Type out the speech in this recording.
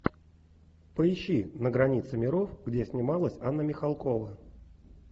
поищи на границе миров где снималась анна михалкова